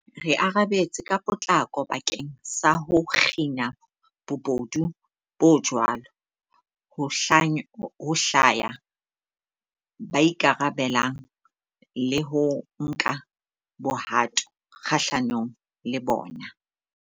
Re arabetse ka potlako bakeng sa ho kgina bobodu bo jwalo, ho hlwaya ba ikarabellang le ho nka bohato kgahlanong le bona.